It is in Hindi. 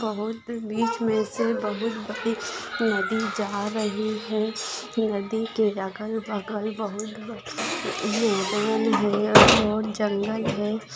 बहुत बीच मे से बहुत बड़ी नदी जा रही है नदी के अगल बगल बहुत बड़े मैदान है बहुत जंगल है।